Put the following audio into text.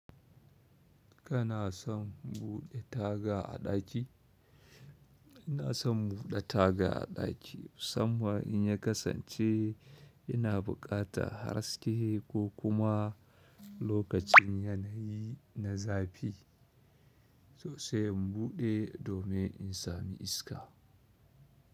Kana son buɗe taga a ɗaki? Ina son buɗe taga a ɗaki musamman in ya kasance ina bukata haske ko kuma lokacin yanayi na zafi so sai in buɗe domin in sami iska.